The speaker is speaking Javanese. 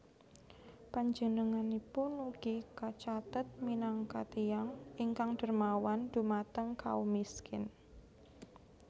Panjenenganipun ugi kacathet minangka tiyang ingkang dermawan dhumateng kaum miskin